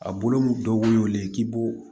A bolo mun dɔw y'o ye k'i b'o